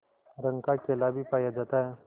रंग का केला भी पाया जाता है